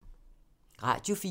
Radio 4